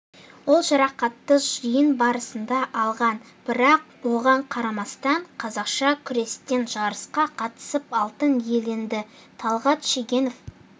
ол жарақатты жиын барысында алған бірақ оған қарамастан қазақша күрестен жарысқа қатысып алтын иеленді талғат шегенов